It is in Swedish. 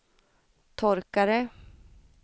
torkare